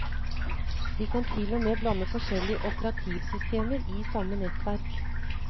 Vi kan til og med blande forskjellige operativsystemer i samme nettverk.